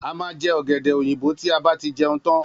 A má je õgédè oyinbo ti a ba tí jeun tan